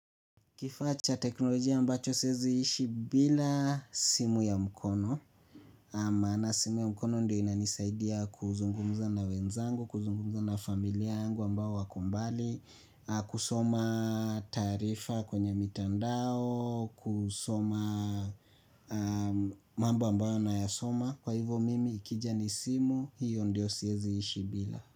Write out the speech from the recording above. Kifaa cha teknolojia ambacho sieziishi bila simu ya mkono naam maana simu ya mkono ndio inanisaidia kuzungumza na wenzangu, kuzungumza na familia yangu ambao wako mbali, kusoma taarifa kwenye mitandao, kusoma mambo ambayo nayasoma. Kwa hivo mimi ikija ni simu, hiyo ndio sieziishi bila.